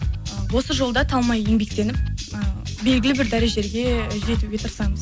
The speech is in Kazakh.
осы жолда талмай еңбектеніп і белгілі бір дәрежеге жетуге тырысамыз